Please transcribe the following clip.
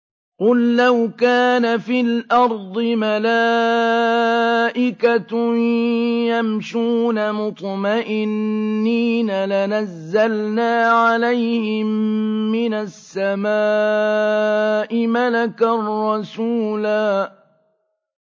قُل لَّوْ كَانَ فِي الْأَرْضِ مَلَائِكَةٌ يَمْشُونَ مُطْمَئِنِّينَ لَنَزَّلْنَا عَلَيْهِم مِّنَ السَّمَاءِ مَلَكًا رَّسُولًا